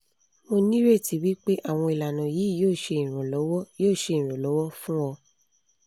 mo nireti wipe awon ilana yi yo se iranlowo yo se iranlowo fun o